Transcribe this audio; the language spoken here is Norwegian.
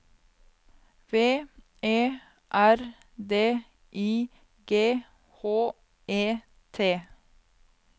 V E R D I G H E T